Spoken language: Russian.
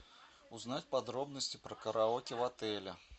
узнать подробности про караоке в отеле